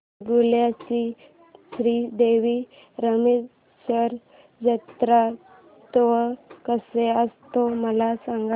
वेंगुर्ल्या चा श्री देव रामेश्वर जत्रौत्सव कसा असतो मला सांग